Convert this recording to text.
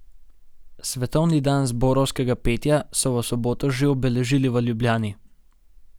Svetovni dan zborovskega petja so v soboto že obeležili v Ljubljani.